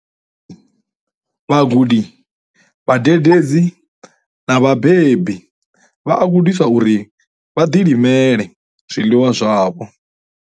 Vhagudi, vhadededzi na vhabebi vha a gudiswa uri vha ḓilimele zwiḽiwa zwavho.